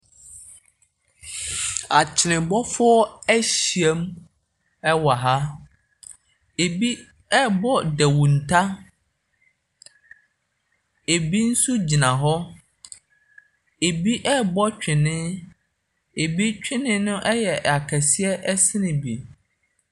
Akwenebɔfoɔ ahyiam wɔ ha. Ɛbi rebɔ nnawuta. Ɛbi nso gyina hɔ. Ɛbi rebɔ twene, ɛbi twene no ya akɛseɛ sene bi.